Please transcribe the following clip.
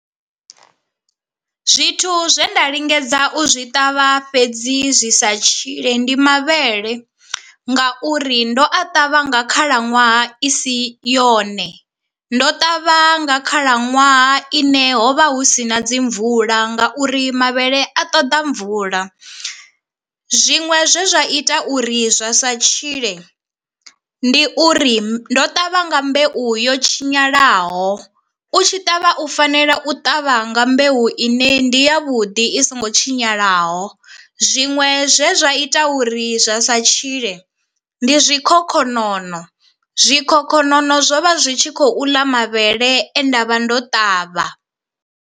Zwithu zwe nda lingedza u zwi ṱavha fhedzi zwi sa tshile ndi mavhele ngauri ndo a ṱavha nga khalaṅwaha i si yone, ndo ṱavha nga khalaṅwaha ine hovha hu si na dzi mvula ngauri mavhele a ṱoḓa mvula, zwiṅwe zwe zwa ita uri zwa sa tshile ndi uri ndo ṱavha nga mbeu yo tshinyalaho. U tshi ṱavha u fanela u ṱavha nga mbeu ine ndi ya vhuḓi i so ngo tshinyalaho, zwiṅwe zwe zwa ita uri zwa sa tshile ndi zwikhokhonono, zwikhokhonono zwo vha zwi tshi khou ḽa mavhele e ndavha ndo ṱavha.